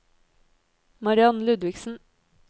Mariann Ludvigsen